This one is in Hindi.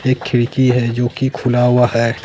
एक खिड़की है जोकी खुला हुआ है।